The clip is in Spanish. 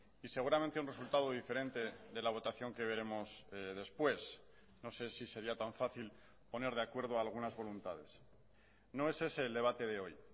y seguramente un resultado diferente de la votación que veremos después no sé si sería tan fácil poner de acuerdo algunas voluntades no es ese el debate de hoy